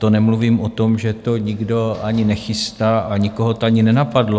To nemluvím o tom, že to nikdo ani nechystá a nikoho to ani nenapadlo.